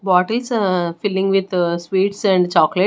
Bottles are filling with sweets and chocolates.